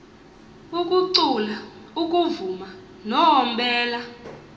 ukucula ukuvuma noombela